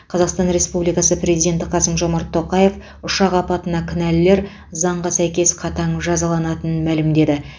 қазақстан республикасы президенті қасым жомарт тоқаев ұшақ апатына кінәлілер заңға сәйкес қатаң жазаланатынын мәлімдеді